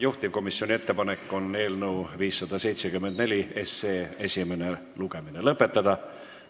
Juhtivkomisjoni ettepanek on eelnõu 574 esimene lugemine lõpetada.